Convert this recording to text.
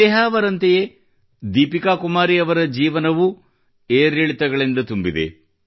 ನೇಹಾ ಅವರಂತೆಯೇ ದೀಪಿಕಾ ಕುಮಾರಿ ಅವರ ಜೀವನ ಪಯಣವೂ ಏರಿಳಿತಗಳಿಂದ ತುಂಬಿದೆ